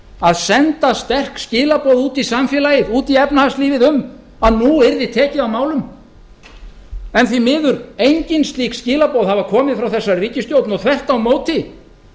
að senda sterk skilaboð út í samfélagið út í efnahagslífið um að nú yrði leið á málum en því miður hafa engin slík skilaboð komið frá þessari ríkisstjórn og þvert á móti